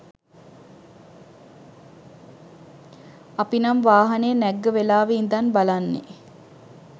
අපි නම් වාහනේ නැග්ග වෙලාවෙ ඉදන් බලන්නෙ